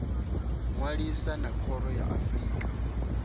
ṅwalisa na khoro ya afrika